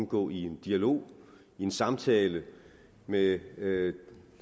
gå i dialog samtale med